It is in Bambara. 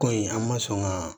Ko in an ma sɔn ka